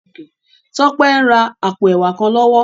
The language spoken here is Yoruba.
Tope n rá àpó èwá kán lòwò